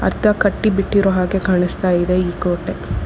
ಅರ್ಧ ಕಟ್ಟಿಬಿಟ್ಟಿರೋ ಹಾಗೆ ಕಾಣಿಸ್ತಾ ಇದೆ ಈ ಕೋಟೆ.